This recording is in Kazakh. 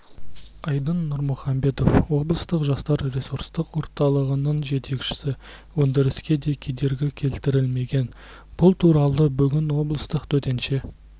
айдын нұрмұхамбетов облыстық жастар ресурстық орталығының жетекшісі өндіріске де кедергі келтірілмеген бұл туралы бүгін облыстық төтенше